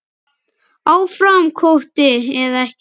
Áfram kvóti eða ekki?